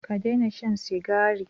Ka daina shan Sigari